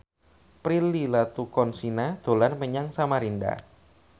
Prilly Latuconsina dolan menyang Samarinda